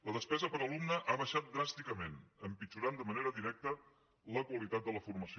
la despesa per alumne ha baixat dràsticament i ha empitjorat de manera directa la qualitat de la formació